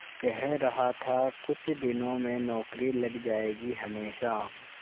कह रहा था कुछ दिनों में नौकरी लग जाएगी हमेशा